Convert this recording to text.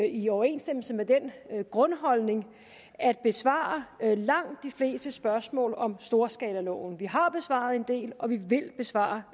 i overensstemmelse med den grundholdning at besvare langt de fleste spørgsmål om storskalaloven vi har besvaret en del og vi vil besvare